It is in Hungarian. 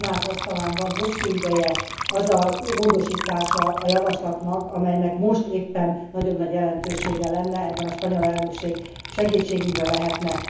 A Tanács asztalán van hosszú ideje az a módosítása a javaslatnak, amelynek most éppen nagyon nagy jelentősége lenne. Ebben a spanyol elnökség segítségünkre lehetne.